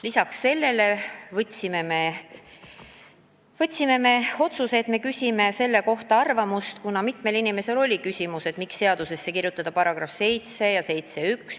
Lisaks otsustasime küsida arvamust selle kohta – mitmel inimesel oli see küsimus –, miks kirjutada seadusesse § 7 ja § 71.